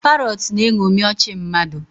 Parrots na-eṅomi ọchị mmadụ